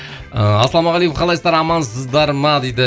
ыыы ассалаумағалейкум қалайсыздар амансыздар ма дейді